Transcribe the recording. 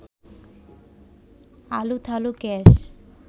আলুথালু কেশ